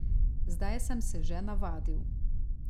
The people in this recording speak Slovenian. Zdaj sem se že navadil.